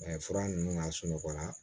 fura ninnu lasunɔgɔla